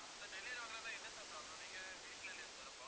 sir delivery வாங்கலைன்னா என்ன sir problem நீங்க வீட்டுல இல்லையா sir அப்போ